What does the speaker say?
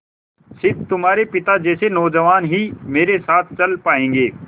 स़िर्फ तुम्हारे पिता जैसे नौजवान ही मेरे साथ चल पायेंगे